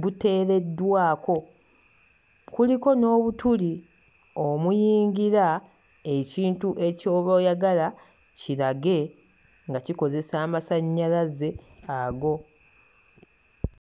buteereddwako. Kuliko n'obutuli omuyingira ekintu eky'oba oyagala kirage nga kikozesa amasannyalaze ago.